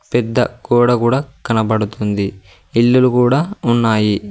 పెద్ద గోడ కూడా కనబడుతుంది ఇల్లులు కూడా ఉన్నాయి.